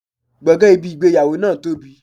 Gbọ̀ngàn ibi ìgbéyàwó náà tóbi.